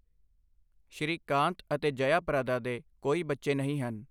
ਸ਼੍ਰੀਕਾਂਤ ਅਤੇ ਜਯਾ ਪ੍ਰਦਾ ਦੇ ਕੋਈ ਬੱਚੇ ਨਹੀਂ ਹਨ।